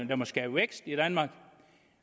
der skaber vækst i danmark